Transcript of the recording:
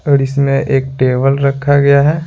और इसमें एक टेबल रखा गया है।